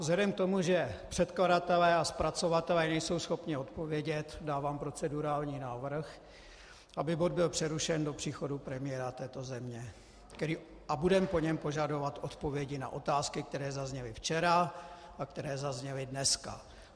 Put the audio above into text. Vzhledem k tomu, že předkladatelé a zpracovatelé nejsou schopni odpovědět, dávám procedurální návrh, aby bod byl přerušen do příchodu premiéra této země, a budeme po něm požadovat odpovědi na otázky, které zazněly včera a které zazněly dneska.